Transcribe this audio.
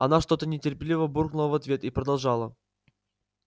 она что-то нетерпеливо буркнула в ответ и продолжала